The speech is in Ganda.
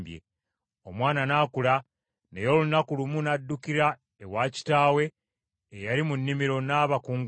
Omwana n’akula, naye olunaku lumu n’addukira ewa kitaawe eyali mu nnimiro n’abakunguzi.